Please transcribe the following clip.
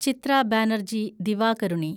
Chithra Banerjee Divakaruni